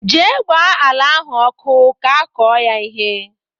Jee gbaa ala ahụ ọkụ ka akọ ya ihe!